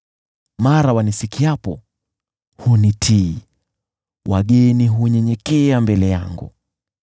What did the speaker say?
Mara wanisikiapo hunitii, wageni hunyenyekea mbele yangu.